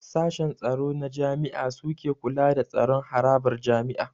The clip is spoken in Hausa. Sashen tsaro na jami'a suke kula da tsaron harabar jami'a